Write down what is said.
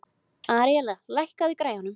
Aríella, lækkaðu í græjunum.